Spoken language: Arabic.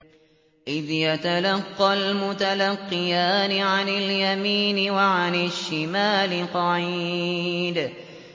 إِذْ يَتَلَقَّى الْمُتَلَقِّيَانِ عَنِ الْيَمِينِ وَعَنِ الشِّمَالِ قَعِيدٌ